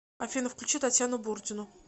афина включи татьяну бурдину